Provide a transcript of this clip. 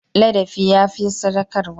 Ladabi ya fi sadaukarwa.